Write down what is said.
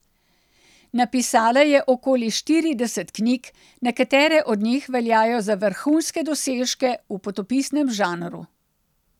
Napisala je okoli štirideset knjig, nekatere od njih veljajo za vrhunske dosežke v potopisnem žanru.